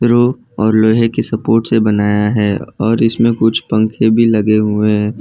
रू और लोहे की सपोर्ट से बनाया है और इसमें कुछ पंखे भी लगे हुए हैं।